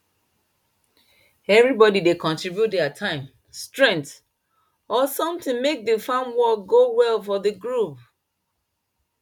everybody dey contribute their time strength or something make the farm work go well for the group